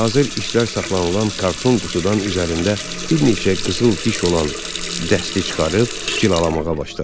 Hazır işlər saxlanılan karton qutudan üzərində bir neçə qızıl diş olan dəsti çıxarıb cilalamağa başladı.